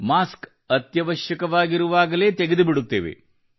mask ಅತ್ಯವಶ್ಯವಾಗಿರುವಾಗಲೇ ತೆಗೆದುಬಿಡುತ್ತೇವೆ